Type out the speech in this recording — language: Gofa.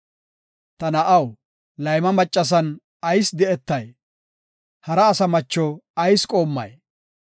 Ta na7aw, layma maccasan ayis di7etay? Hara asa macho ayis qoommay?